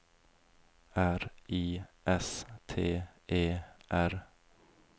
R I S T E R